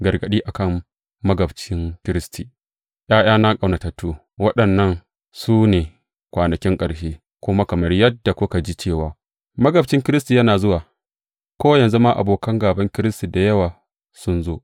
Gargaɗi a kan magabcin Kiristi ’Ya’yana ƙaunatattu, waɗannan su ne kwanakin ƙarshe; kuma kamar yadda kuka ji cewa magabcin Kiristi yana zuwa, ko yanzu ma abokan gāban Kiristi da yawa sun zo.